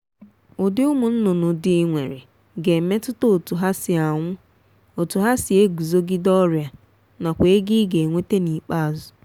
ụdị ụmụnnụnụ dị i nwere ga-emetụta otu ha si anwụ otu ha si eguzogide ọrịa nakwa ego i ga-enweta n'ikpeazụ